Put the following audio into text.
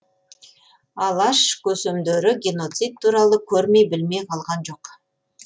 алаш көсемдері геноцид туралы көрмей білмей қалған жоқ